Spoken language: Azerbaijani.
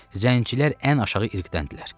Zəncilər ən aşağı irqdəndirlər.